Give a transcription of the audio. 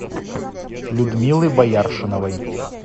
людмилы бояршиновой